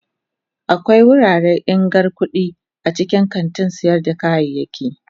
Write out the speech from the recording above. Akwai wuraren irgan kudade a cikin kantin sayar da kayayyaki.